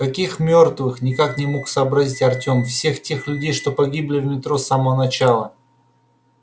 каких мёртвых никак не мог сообразить артём всех тех людей что погибли в метро с самого начала